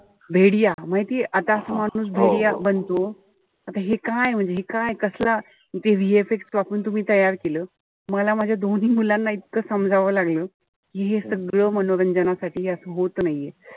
माहितीये आता माणूस बनतो. आता हे काय म्हणजे हे काय कसलं. ते VFX वापरून तुम्ही ते तयार केलं. मला माझ्या दोन्ही मुलांना इतकं समजावं लागलं. कि हे सगळं मनोरंजनासाठी असं होत नाहीये.